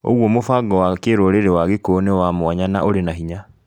ũguo mũbango wa kĩrũrĩrĩ wa gĩkũyũ nĩ wa mwanya na ũrĩ na hinya.